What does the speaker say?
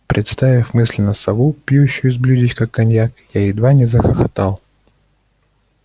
представив мысленно сову пьющую из блюдечка коньяк я едва не захохотал